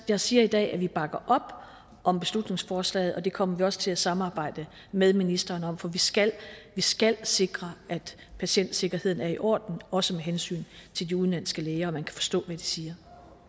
jeg siger i dag at vi bakker op om beslutningsforslagene og det kommer vi også til at samarbejde med ministeren om for vi skal skal sikre at patientsikkerheden er i orden også med hensyn til de udenlandske læger og at man kan forstå hvad de siger